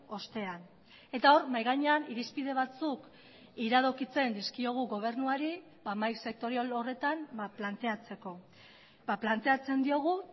ostean eta hor mahai gainean irizpide batzuk iradokitzen dizkiogu gobernuari mahai sektorial horretan planteatzeko planteatzen diogu